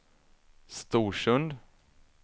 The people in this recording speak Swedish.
Storsund